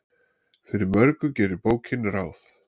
Fyrir mörgu gerir bókin ráð.